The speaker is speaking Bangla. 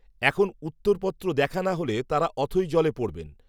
এখন উত্তরপত্র দেখা না হলে তাঁরা অথৈ জলে পড়বেন